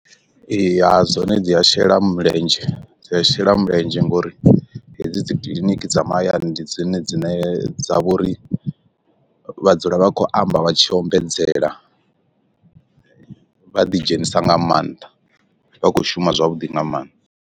Ee ha dzone dzi a shela mulenzhe dzi a shela mulenzhe ngauri hedzi dzi kiḽiniki dza mahayani ndi dzone dzine dza vha uri vha dzula vha khou amba vha tshi ombedzela, vha ḓi dzhenisa nga maanḓa vha kho shuma zwavhuḓi nga maanḓa.